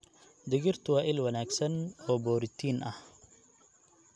Digirtu waa il wanaagsan oo borotiin ah.